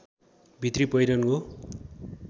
भित्री पहिरन हो